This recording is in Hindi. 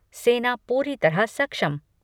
सेना पूरी तरह सक्षम